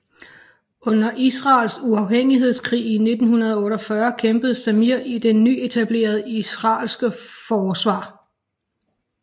Under Israels uafhængighedskrig i 1948 kæmpede Zamir i det nyetablerede israelske forsvar